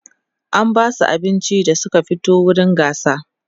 an Basu abinci da Suka fito wurin gasar